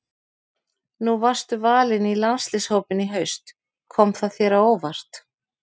Nú varstu valinn í landsliðshópinn í haust, kom það þér á óvart?